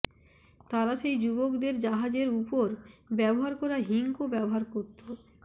তারা সেই যুবকদের জাহাজের উপর ব্যবহার করা হিংকও ব্যবহার করত